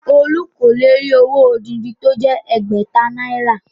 Olú kò lè rí owó odindi tí ó jẹ́ ẹgbẹ̀ta náírà